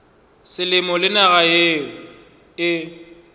selemo le naga yeo e